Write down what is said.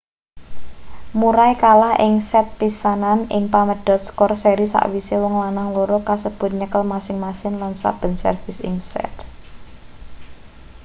murray kalah ing set pisanan ing pamedhot skor seri sakwise wong lanang loro kasebut nyekel masing-masing lan saben servis ing set